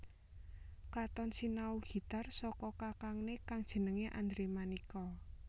Katon sinau gitar saka kakangné kang jenengé Andre Manika